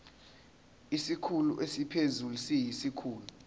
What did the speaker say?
isikhulu esiphezulu siyisikhulu